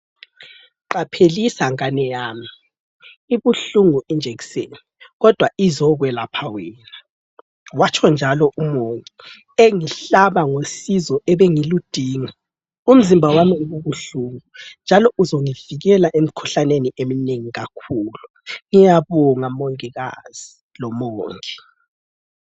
Qaphelisa ngane yami ,ibuhlungu ijekiseni kodwa izekwelapha wena ,watsho njalo umongi engihlaba ngosizo ebengiludinga, umzimba wami ububuhlungu njalo uzongivikela emikhuhlaneni eminengi kakhulu. Ngiyabonga mongikazi lomongi